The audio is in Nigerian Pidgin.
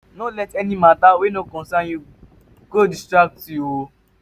no let any mata wey no concern yu go distract yu o